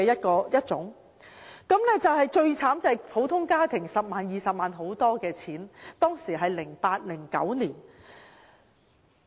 可悲的是，對普通家庭來說 ，10 萬元、20萬元已是一個很大的數目。